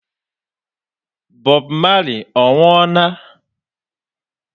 Bob Marley ọ nwuọ na?